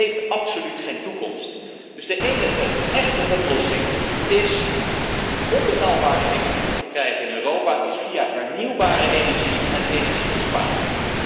Dat heeft absoluut geen toekomst. Dus de enige echte oplossing om betaalbare energie te verkrijgen in Europa is via hernieuwbare energie en energiebesparing.